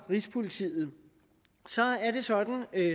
rigspolitiet så er det sådan